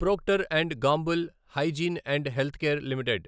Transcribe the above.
Procter and Gamble hygiene and health care limited